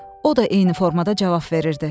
O da eyni formada cavab verirdi.